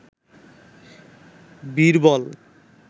Birbal